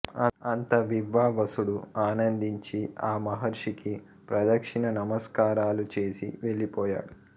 అంత వివ్వావసుడు ఆనందించి ఆ మహర్షికి ప్రదక్షిణ నమస్కారాలు చేసి వెళ్ళిపోయాడు